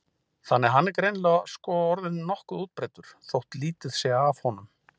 Þannig að hann er greinilega sko orðinn nokkuð útbreiddur þótt lítið sé af honum.